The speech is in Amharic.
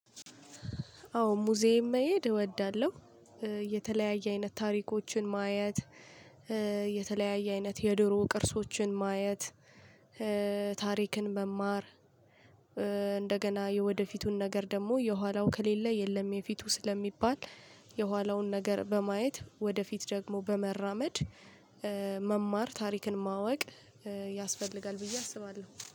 አዎ ሙዚየም መሄድ እወዳለሁ። የተለያየ አይነት ታሪኮችን ማየት። የተለያየ አይነት የድሮ ቅርሶችን ማየት። ታሪክን መማር። እንደገና የወደፊቱን ነገር ደግሞ የኋላው ከሌለ የለም የፊቱ ስለሚባል የኋላውን ነገር በማየት ወደፊት ደግሞ በመራመድ። መማር ታሪክን ማወቅ ያስፈልጋል ብዬ አስባለሁ